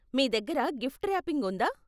మీ దగ్గర gift wrapping ఉందా?